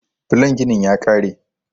Blon ginin ya ƙare.